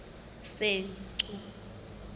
senqu